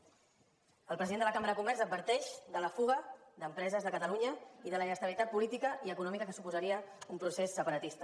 el president de la cambra de comerç adverteix de la fuga d’empreses de catalunya i de la inestabilitat política i econòmica que suposaria un procés separatista